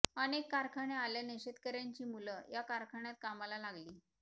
अनेक कारखाने आल्यानं शेतकर्यांची मुलं या कारखान्यात कामाला लागली